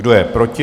Kdo je proti?